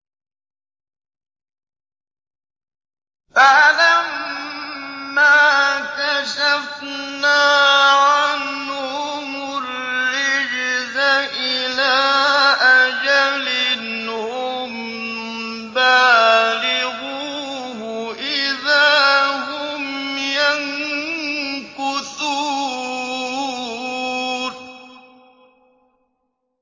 فَلَمَّا كَشَفْنَا عَنْهُمُ الرِّجْزَ إِلَىٰ أَجَلٍ هُم بَالِغُوهُ إِذَا هُمْ يَنكُثُونَ